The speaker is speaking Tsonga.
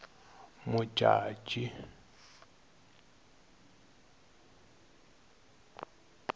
modjadji